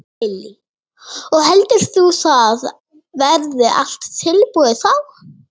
Lillý: Og heldur þú að það verði allt tilbúið þá?